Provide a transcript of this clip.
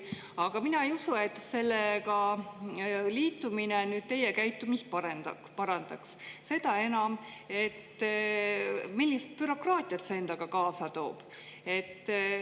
Aga mina ei usu, et sellega liitumine teie käitumist parandaks, seda enam, et millist bürokraatiat see endaga kaasa toob.